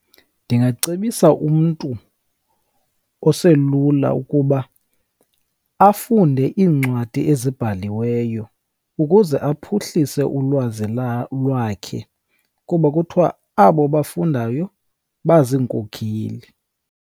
Ndingacebisa umntu oselula ukuba afunde iincwadi ezibhaliweyo ukuze aphuhlise ulwazi lwakhe, kuba kuthiwa abo bafundayo baziinkokheli.